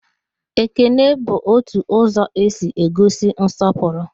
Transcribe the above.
Ekele bụ otu ụzọ e si egosi nsọpụrụ